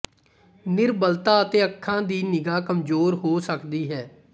ਨਿਰਬਲਤਾ ਅਤੇ ਅੱਖਾਂ ਦੀ ਨਿਗ੍ਹਾ ਕਮਜ਼ੋਰ ਹੋ ਸਕਦੀ ਹੈ